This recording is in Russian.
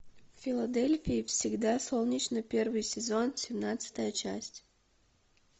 в филадельфии всегда солнечно первый сезон семнадцатая часть